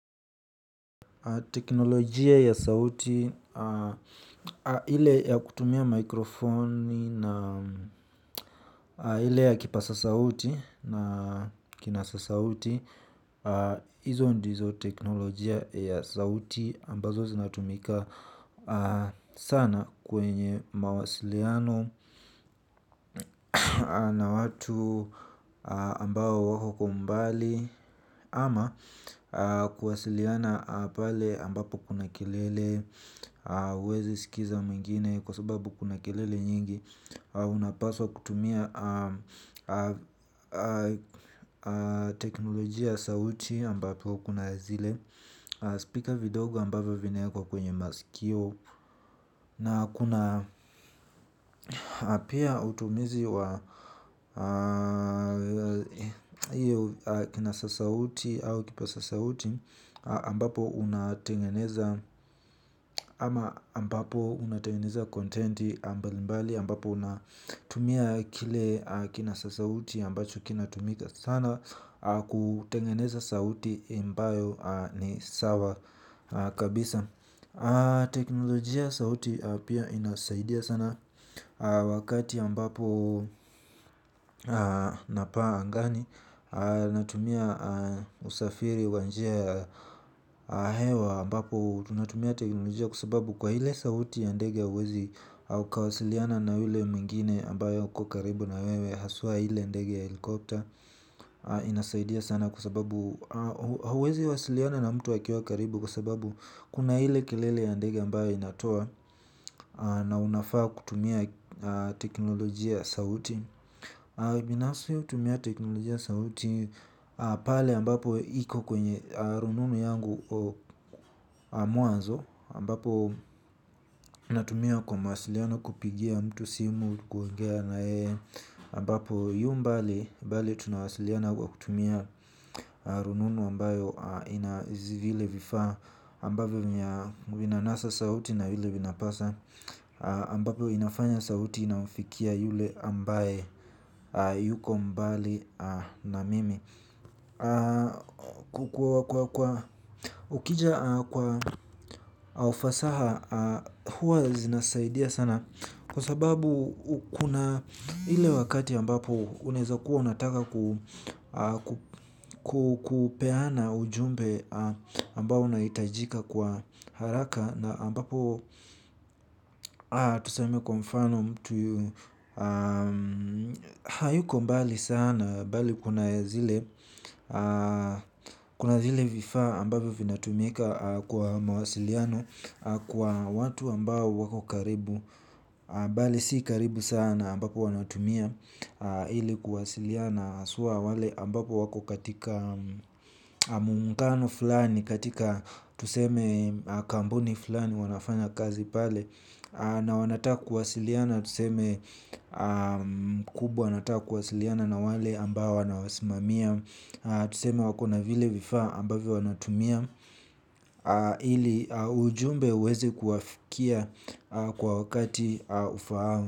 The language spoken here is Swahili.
Teknolojia ya sauti, hile ya kutumia mikrofoni na hile ya kipasa sauti na kinasa sauti, hizo ndizo teknolojia ya sauti ambazo zinatumika sana kwenye mawasiliano na watu ambao wako kwa umbali ama kuwasiliana pale ambapo kuna kelele hauwezi sikiza mwengine kwa sababu kuna kelele mingi. Unapaswa kutumia teknolojia sauti ambapo kuna zile Speaker vidogo ambapo vinae kwa kwenye masikio. Na kuna pia utumizi wa kina sasauti au kipa sasauti ambapo unatengeneza contenti mbali mbali ambapo unatumia kile kinasa sauti ambacho kinatumika sana kutengeneza sauti ambayo ni sawa kabisa. Teknolojia sauti pia inasaidia sana wakati ambapo napaa angani. Natumia usafiri wa njia ya hewa ambapo tunatumia teknolojia kwa sababu kwa ile sauti ya ndege hauwezi ukawasiliana na yule mwingine ambayo uko karibu na wewe haswa ile ndege helikopter. Inasaidia sana kwa sababu huwezi wasiliana na mtu akiwa karibu. Kwa sababu kuna ile kelele ya ndege ambayo inatoa na unafaa kutumia teknolojia sauti. Binafsi hutumia teknolojia sauti pale ambapo iko kwenye rununu yangu mwanzo ambapo ninatumia kwa mawasiliano kupigia mtu simu kuongea na yeye ambapo yu mbali bali tunawasiliana kwa kutumia rununu ambayo ina zi vile vifaa ambavyo vinanasa sauti na yule vinapasa ambapo inafanya sauti inaufikia yule ambaye yuko mbali na mimi ukija kwa ufasaha huwa zinasaidia sana kwa sababu kuna ile wakati ambapo unaeza kuwa unataka kupeana ujumbe ambao unahitajika kwa haraka na ambapo tuseme kwa mfano mtu hayuko mbali sana mbali bali kuna zile kuna zile vifaa ambavyo vinatumika kwa mawasiliano kwa watu ambao wako karibu bali si karibu sana ambapo wanatumia ili kuwasiliana haswa wale ambapo wako katika Muungano fulani katika tuseme kambuni fulani wanafanya kazi pale. Na wanataka kuwasiliana tuseme mkubwa anataka kuwasiliana na wale ambao wanawasimamia. Tuseme wakona vile vifaa ambayo wanatumia. Ile ujumbe uweze kuwafikia kwa wakati ufaao.